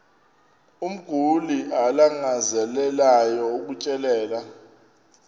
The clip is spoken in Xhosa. umguli alangazelelayo ukutyelelwa